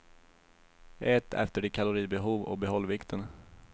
Ät efter ditt kalorigbehov och behåll vikten.